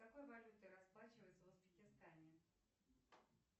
какой валютой расплачиваются в узбекистане